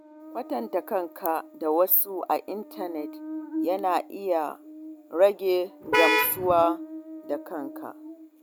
Kwatanta kanka da wasu a intanet yana iya rage gamsuwa da kanka.